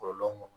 Kɔlɔlɔ mun